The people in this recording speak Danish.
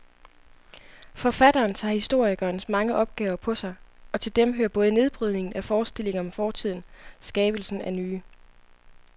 Forfatteren tager historikerens mange opgaver på sig, og til dem hører både nedbrydningen af forestillinger om fortiden skabelsen af nye.